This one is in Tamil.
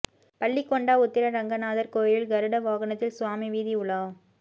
பள்ளிகொண்டா உத்திர ரங்கநாதர் கோயிலில் கருட வாகனத்தில் சுவாமி வீதி உலா